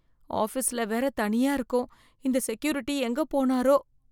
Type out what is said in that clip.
ஆஃபீஸ்ல வேற தனியா இருக்கோம்.இந்த செக்யூரிட்டி எங்க போனாரோ?